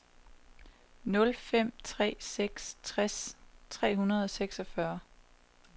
nul fem tre seks tres tre hundrede og seksogfyrre